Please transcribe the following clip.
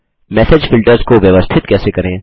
message filters को व्यवस्थित कैसे करें